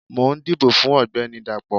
mò n dibò fun ọgbẹni Dapó